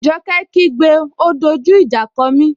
Joke kí gbé,'O dojú ìjà kọ mí!